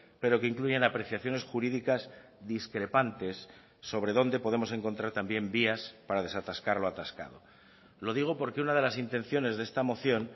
pero que incluyen apreciaciones jurídicas discrepantes sobre dónde podemos encontrar también vías para desatascar lo atascado lo digo porque una de las intenciones de esta moción